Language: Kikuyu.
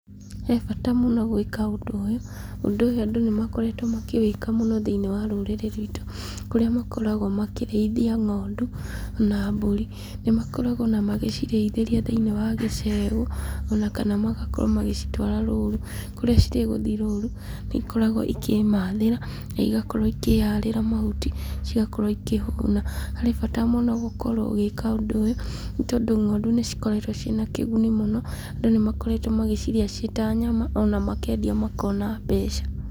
He bata mũno gwĩka ũndũ ũyũ. Ũndũ ũyũ andũ nĩ makoretwo makĩwĩka mũno thĩiniĩ wa rũrĩrĩ rwitũ, kũrĩa makoragwo makĩrĩithia ng'ondu na mbũri. Nĩ makoragwo o na magĩcirĩithĩria thĩiniĩ wa gĩcegũ o na kana magakorwo magĩcitwara rũũru, kũrĩa cirĩ gũthiĩ rũũru nĩ ikoragwo ikĩmathĩra na igakorwo ikĩharĩra mahuti, cigakorwo ikĩhũna. Harĩ bata mũno gũkorwo ũgĩka ũndũ ũyũ, nĩ tondũ ng'ondu nĩ cikoretwo ciĩ na kĩguni mũno. Andũ nĩ makoretwo magĩcirĩa ciĩ ta nyama na makendia makona mbeca.